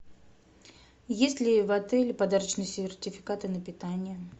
есть ли в отеле подарочные сертификаты на питание